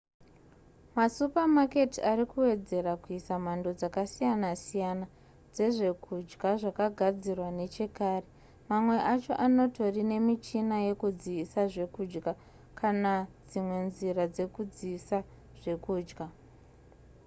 masupamaketi ari kuwedzera kuisa mhando dzakasiyana siyana dzezvekudya zvakagadzirwa nechekare mamwe acho anotori nemichina yekudziisa zvekudya kana dzimwe nzira dzekudziisa zvekudya